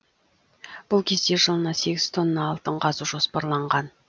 бұл кезде жылына сегіз тонна алтын қазу жоспарланған